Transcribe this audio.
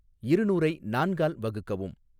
இருநூறை நான்கால் வகுக்கவும்